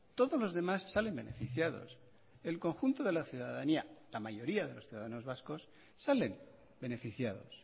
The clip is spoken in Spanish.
todos los demás salen beneficiados el conjunto de la ciudadanía la mayoría de los ciudadanos vascos salen beneficiados